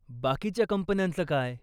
बाकीच्या कंपन्यांचं काय?